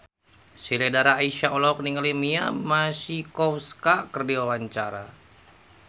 Sheila Dara Aisha olohok ningali Mia Masikowska keur diwawancara